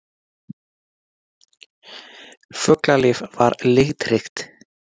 Fuglalíf var litríkt.